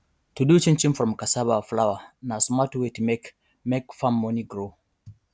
to do chinchin from cassava flour na smart way to make make farm money grow